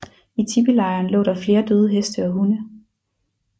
I tipilejren lå der flere døde heste og hunde